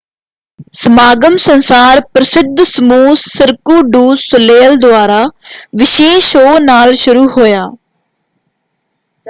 ਸਮਾਗਮ ਸੰਸਾਰ ਪ੍ਰਸਿੱਧ ਸਮੂਹ ਸਿਰਕੁ ਡੂ ਸੋਲੇਇਲ ਦੁਆਰਾ ਵਿਸ਼ੇਸ਼ ਸ਼ੋਅ ਨਾਲ ਸ਼ੁਰੂ ਹੋਇਆ।